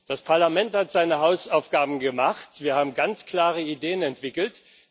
Das Parlament hat seine Hausaufgaben gemacht, wir haben ganz klare Ideen entwickelt.